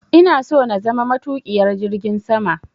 Ina so na zama matuƙiyar jirgin sama.